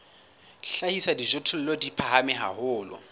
hlahisa dijothollo di phahame haholo